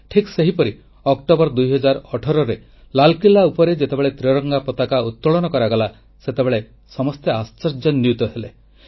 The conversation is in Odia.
ଠିକ୍ ସେହିପରି ଅକ୍ଟୋବର 2018 ରେ ଲାଲକିଲ୍ଲା ଉପରେ ଯେତେବେଳେ ତ୍ରିରଙ୍ଗା ପତାକା ଉତ୍ତୋଳନ କରାଗଲା ସେତେବେଳେ ସମସ୍ତେ ଆଶ୍ଚର୍ଯ୍ୟାନ୍ୱିତ ହେଲେ